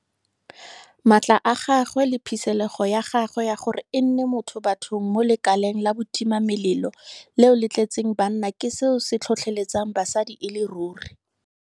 Maatla a gagwe le phisegelo ya gagwe ya gore e nne motho bathong mo lekaleng la botimamelelo leo le tletseng ka banna ke seo se tlhotlheletsang basadi e le ruri.